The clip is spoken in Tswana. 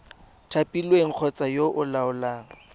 thapilweng kgotsa yo o laolang